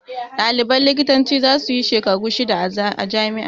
Ɗaliban likitancin za su yi shekaru shida a jami'ar.